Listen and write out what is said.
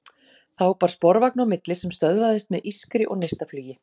Þá bar sporvagn á milli sem stöðvaðist með ískri og neistaflugi.